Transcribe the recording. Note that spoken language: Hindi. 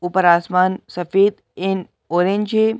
ऊपर आसमान सफेद एंड ऑरेंज है।